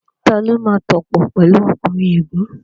Tani ó máa tòpò pẹ̀lu ọkùnrin ègún?